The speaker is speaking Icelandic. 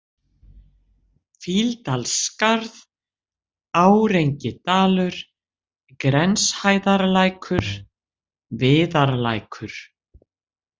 Fýldalsskarð, Árengidalur, Grenshæðarlækur, Viðarlækur